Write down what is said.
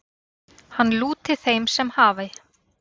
Hann lúti þeim sem hafi